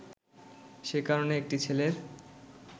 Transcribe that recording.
সে কারণে একটি ছেলের